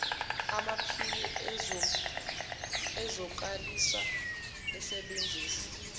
amaphini ezokwazisa asebenzisa